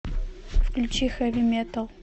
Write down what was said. включи хэви метал